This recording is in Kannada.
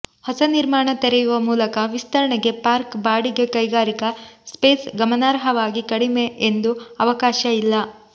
ಹೊಸ ನಿರ್ಮಾಣ ತೆರೆಯುವ ಮೂಲಕ ವಿಸ್ತರಣೆಗೆ ಪಾರ್ಕ್ ಬಾಡಿಗೆ ಕೈಗಾರಿಕಾ ಸ್ಪೇಸ್ ಗಮನಾರ್ಹವಾಗಿ ಕಡಿಮೆ ಎಂದು ಅವಕಾಶ ಇಲ್ಲ